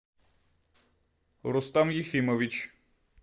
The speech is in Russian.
рустам ефимович